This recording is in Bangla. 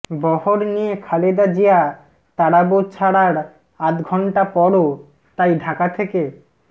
বহর নিয়ে খালেদা জিয়া তারাবো ছাড়ার আধা ঘণ্টা পরও তাই ঢাকা থেকে